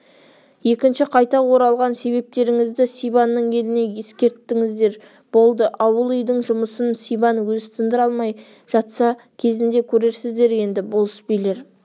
екінші қайта оралған себептеріңізді сибанның еліне ескерттіңіздер болды ауыл-үйдің жұмысын сибан өзі тындыра алмай жатса кезінде көрерсіздер енді болыс-билер